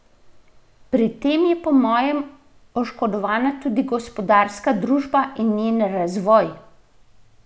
Pri tem je po mojem oškodovana tudi gospodarska družba in njen razvoj!